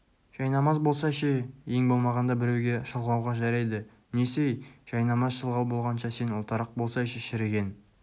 жайнамаз болса ше ең болмағанда біреуге шылғауға жарайды несі-ей жайнамаз шылғау болғанша сен ұлтарақ болсайшы шіріген